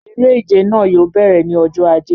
Eré ìje náà yóò bẹ̀rẹ̀ ní ọjọ ajé